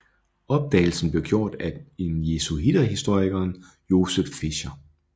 Opdagelsen blev gjort af den jesuiterhistorikeren Joseph Fischer